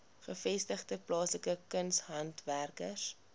gevestigde plaaslike kunshandwerkers